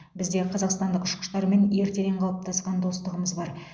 бізде қазақстандық ұшқыштармен ертеден қалыптасқан достығымыз бар